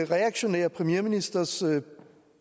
reaktionære premierministers